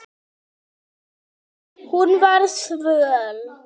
Hún var svöl.